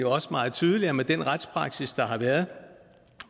også meget tydeligt at med den retspraksis der har været og